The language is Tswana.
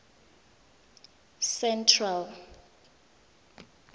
central